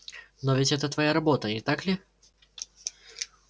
но ведь это твоя работа не так ли